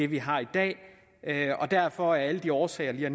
vi har i dag derfor af alle de årsager